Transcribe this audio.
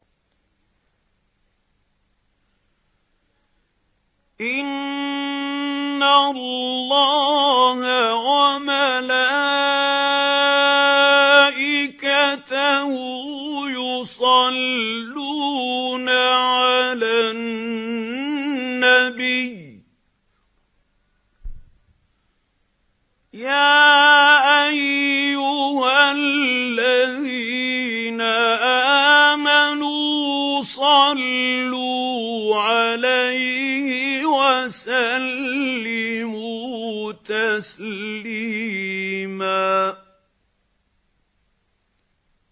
إِنَّ اللَّهَ وَمَلَائِكَتَهُ يُصَلُّونَ عَلَى النَّبِيِّ ۚ يَا أَيُّهَا الَّذِينَ آمَنُوا صَلُّوا عَلَيْهِ وَسَلِّمُوا تَسْلِيمًا